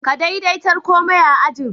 Ka daidatarkomai a'ajian.